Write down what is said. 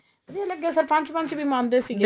ਵਧੀਆ ਲੱਗਿਆ ਸਰਪੰਚ ਪੰਚ ਵੀ ਮੰਨਦੇ ਸੀਗੇ